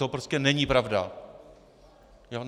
To prostě není pravda.